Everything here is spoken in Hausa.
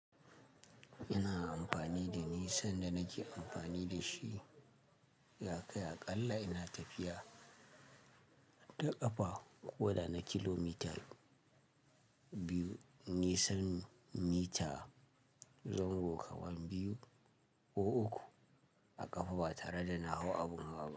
Ina amfani da ni sanda nake amfani da shi. Ya kai aƙalla ina tafiya da ƙafa ko da na kilomital biyu, nisan mita zango kawan biyu ko uku a ƙafa ba tare da na hau abun hawa ba.